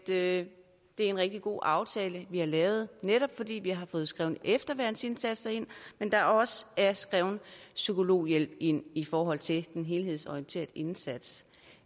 det er en rigtig god aftale vi har lavet netop fordi vi har fået skrevet efterværnsindsatser ind men der er også skrevet psykologhjælp ind i forhold til den helhedsorienterede indsats